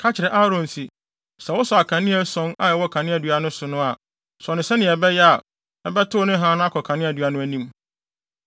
“Ka kyerɛ Aaron se, ‘Sɛ wosɔ akanea ason a ɛwɔ kaneadua no so no a, sɔ no sɛnea ɛbɛyɛ a, ɛbɛtow ne hann no akɔ kaneadua no nʼanim.’ ”